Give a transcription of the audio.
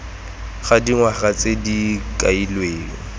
ga dingwaga tse di kailweng